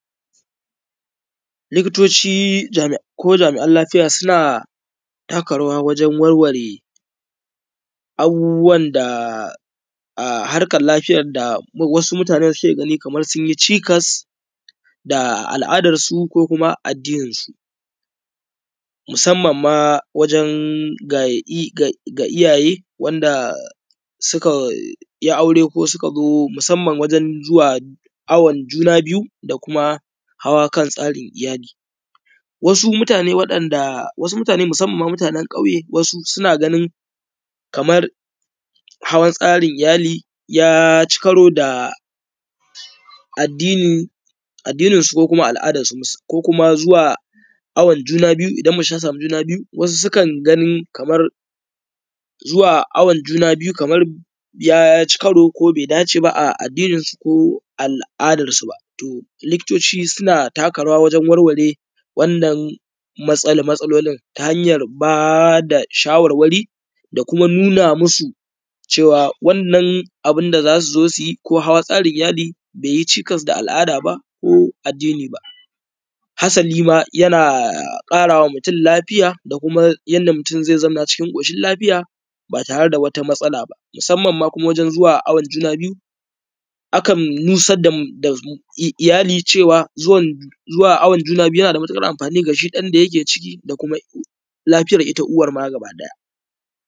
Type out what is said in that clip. likitoci ko jami’an lafiya suna taka rawa wajen warware abubuwan da harkar lafiyan da wasu mutane suke gani ma kamar sun yi ʧikas, da al’adarsu ko addininsu. Musamman ma wajen ga i: iyaye, wanda suka yi aure ko suka zo musamman wajen zuwa awon ʤuna biyu, da kuma hawa kan tsarin iyali. Wasu mutane waɗanda, wasu mutane musamman mutanen ƙayje, wasu suna ganin, kamar hawa tsarin iyali ya ci karo da addini addininsu ko al’adarsu. Ko kuma zuwa awoon juna biyu idan mace ta sami juna biuyu, wasu sukan gani kamar zuwa awon juna biyu, kamar ya ci kato ko bai datee ba a addininsu ko al’adarsu ba. To likitoci suna taka rawa wajen warware wannan matsa matsalolin. Ta: hanyar ba da shawarwari da kuma nuna masu cewa wannan abun da za so zo yike ko juna biyu, bai yi ʧikas da al’ada ba ko addini ba. Hasali ma yana ƙarawa mutum lafiya da kuma yadda mutum zai zauna cikin ƙocin lafiya ba tare da wata matsala ba, musamman ma waken zuwa awon juna biyu. A kan nusan da ifali cewa zuwan zuwa awon juna biyu, jana da matuƙar amfni ga ɗan da yake ciki da kuma lafiya ita kuma uwar ma gaba ɗaya.